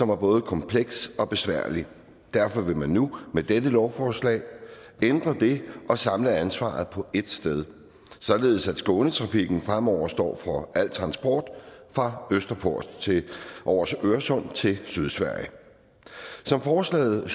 var både komplekst og besværligt derfor vil man nu med dette lovforslag ændre det og samle ansvaret på ét sted således at skånetrafiken fremover står for al transport fra østerport over øresund og til sydsverige som forslaget